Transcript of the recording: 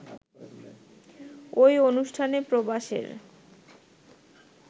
ওই অনুষ্ঠানে প্রবাসের